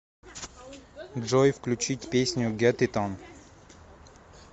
джой включить песню гет ит он